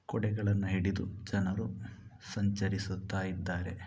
ಕೊಡೆಗಳನ್ನು ಹಿಡಿದು ಜನರು ಸಂಚರಿಸುತ್ತಾ ಇದ್ದಾರೆ.